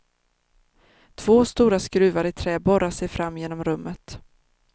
Två stora skruvar i trä borrar sig fram genom rummet.